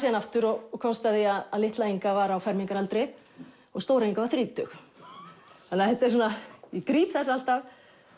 hana aftur og komst að því að litla Inga var á fermingaraldri og stóra Inga var þrítug þannig að ég gríp þessa alltaf